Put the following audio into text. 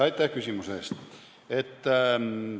Aitäh küsimuse eest!